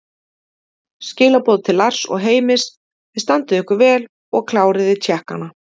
Skilaboð til Lars og Heimis: Þið standið ykkur vel og kláriði Tékkana!